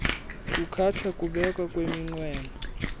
kukhatshwa kukubekwa kweminqweno